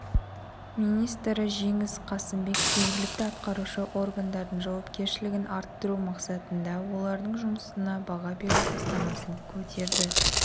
министрі жеңіс қасымбек жергілікті атқарушы органдардың жауапкершілігін арттыру мақсатында олардың жұмысына баға беру бастамасын көтерді